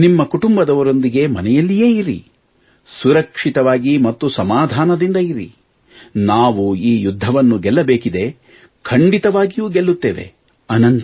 ನೀವು ನಿಮ್ಮ ಕುಟುಂಬದವರೊಂದಿಗೆ ಮನೆಯಲ್ಲೇ ಇರಿ ಸುರಕ್ಷಿತವಾಗಿ ಮತ್ತು ಸಮಾಧಾನದಿಂದ ಇರಿ ನಾವು ಈ ಯುದ್ಧವನ್ನು ಗೆಲ್ಲಬೇಕಿದೆ ಖಂಡಿತವಾಗಿಯೂ ಗೆಲ್ಲುತ್ತೇವೆ